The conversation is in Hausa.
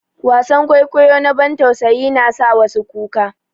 Wasan kwaikwayo na bantausayi na sa wasu kuka.